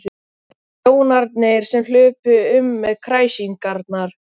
Þjónarnir sem hlupu um með kræsingarnar.